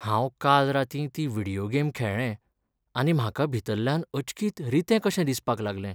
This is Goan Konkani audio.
हांव काल रातीं ती व्हिडियो गेम खेळ्ळें आनी म्हाका भितरल्यान अचकीत रितें कशें दिसपाक लागलें.